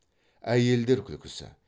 әйелдер күлкісі